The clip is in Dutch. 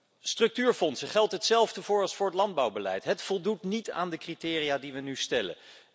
Voor de structuurfondsen geldt hetzelfde als voor het landbouwbeleid ze voldoen niet aan de criteria die we nu stellen.